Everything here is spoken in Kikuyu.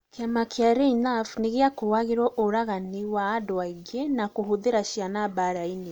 Kĩama kĩa reinafu nĩgĩakũagĩruo ũraganinĩ wa andũ aingĩ na kũhũthira cĩana mbaraini